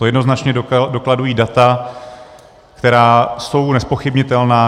To jednoznačně dokladují data, která jsou nezpochybnitelná.